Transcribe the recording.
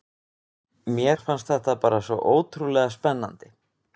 Mér fannst þetta bara svo ótrúlega spennandi.